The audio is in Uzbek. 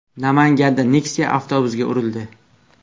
Namanganda Nexia avtobusga urildi.